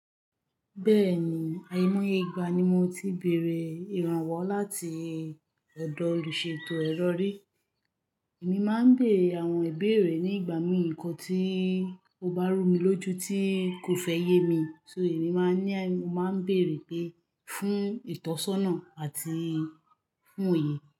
Bẹ́ẹ̀ni, àìmoiyeigba ni mo ti béèrè ìrànwọ́ láti ọ̀dọ̀ olùṣètò ẹ̀rọ ri. Èmi máa ń béere àwọn ìbéèrè ní ìgbà mìí nǹkan tí ó bá rú mi lójú tí kò fẹ́ yé mi, so èmi máa ń ní, mo máa ń bèèrè pé fún ìtọ́sọ́nà àti fún òye.